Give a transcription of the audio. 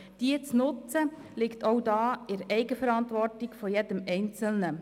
Diese zu nutzen, liegt auch da in der Eigenverantwortung jedes Einzelnen.